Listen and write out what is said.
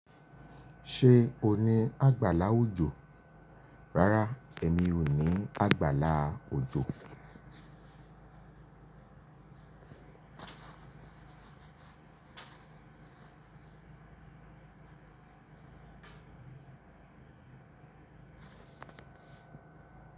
Ṣé o ní àgbàlá òjò? Rárá, èmi ò ní àgbàlá òjò.